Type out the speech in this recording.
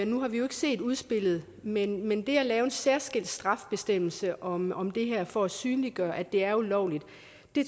nu har vi jo ikke set udspillet men men det at lave en særskilt strafbestemmelse om om det her for at synliggøre at det er ulovligt